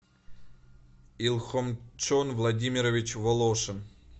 илхомчон владимирович волошин